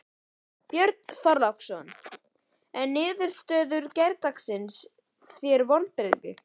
Björn Þorláksson: En er niðurstaða gærdagsins þér vonbrigði?